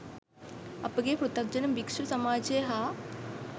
අපගේ පෘතග්ජන භික්ෂු සමාජය හා